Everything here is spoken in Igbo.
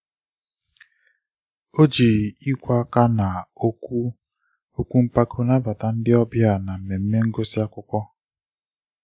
o ji ikwe aka ná okwu okwu mpako nabata ndị ọbịa na mmemme ngusi akwụkwọ